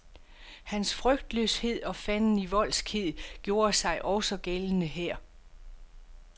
Hans frygtløshed og fandenivoldskhed gjorde sig også gældende her.